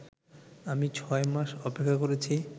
আমি ছয় মাস অপেক্ষা করেছি